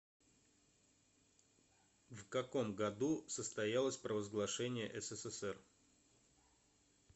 в каком году состоялось провозглашение ссср